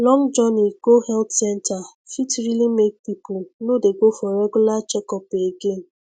long journey go health center fit really make people no dey go for regular checkup again